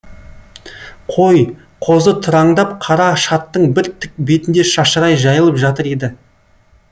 қой қозы тыраңдап қара шаттың бір тік бетінде шашырай жайылып жатыр еді